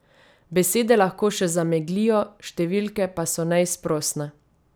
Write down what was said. Besede lahko še zameglijo, številke pa so neizprosne.